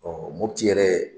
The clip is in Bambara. Ɔ Mopti yɛrɛ.